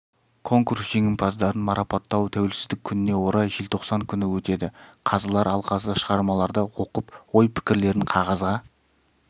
конкурс жеңімпаздарын марапаттау тәуелсіздік күніне орай желтоқсан күні өтеді қазылар алқасы шығармаларды оқып ой-пікірлерін қағазға